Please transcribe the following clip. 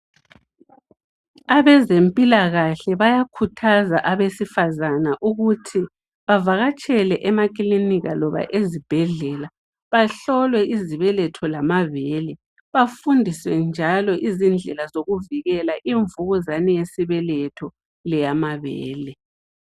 Abezempilakahle bayakhuthaza abesifazana ukuthi bavakatshele emakilinika loba ezibhedlela bahlolwe izibeletho lamabele bafundiswe izindlela zokuvikela imvukuzane yesibeletho leyamabele.